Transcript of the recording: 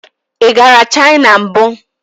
Ị gara China mbụ?